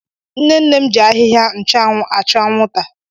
Nne nne m ji ahịhịa nchụanwụ achụ anwụnta.